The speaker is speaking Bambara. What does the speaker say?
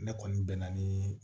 Ne kɔni bɛ na ni